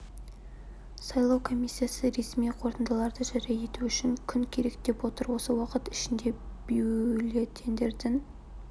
сайлау комиссиясы ресми қорытындыларды жария ету үшін күн керек деп отыр осы уақыт ішінде бюллетеньдердің